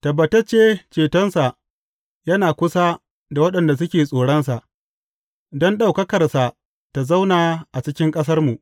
Tabbatacce cetonsa yana kusa da waɗanda suke tsoronsa, don ɗaukakarsa ta zauna a cikin ƙasarmu.